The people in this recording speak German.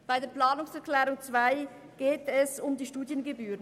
Bei der Planungserklärung 2 geht es um die Studiengebühren.